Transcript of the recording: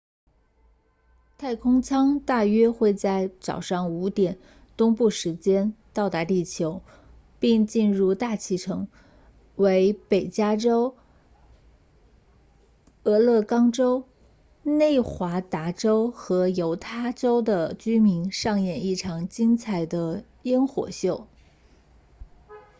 太空舱大约会在早上5点东部时间到达地球并进入大气层为北加州俄勒冈州内华达州和犹他州的居民上演一场精彩的焰火秀